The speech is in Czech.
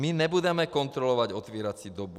My nebudeme kontrolovat otevírací dobu.